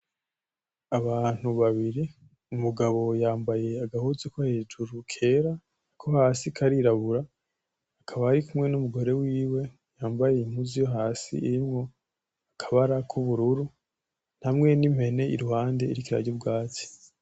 Abantu babiri umugabo yambaye agahuzu ko hejuru kera ko hasi karirabura , akaba arikumwe n'umugore wiwe yambaye impuzu yo hasi irimwo akabara k'ubururu hamwe n'impene iruhande iriko irarya ubwatsi.